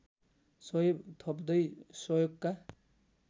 सही थप्दै सहयोगका